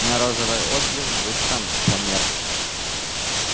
но розовый отблеск быстро померк